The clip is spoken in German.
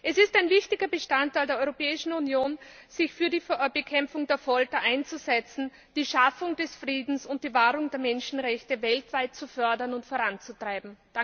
Es ist ein wichtiger Grundsatz der Europäischen Union, sich für die Bekämpfung der Folter einzusetzen, die Schaffung des Friedens und die Wahrung der Menschenrechte weltweit zu fördern und voranzutreiben!